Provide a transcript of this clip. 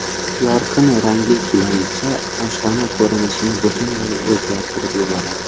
Yorqin rangli gilamcha oshxona ko‘rinishini butunlay o‘zgartirib yuboradi.